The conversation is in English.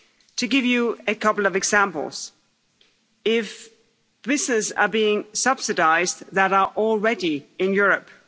To give you a couple of examples if businesses are being subsidised that are already in Europe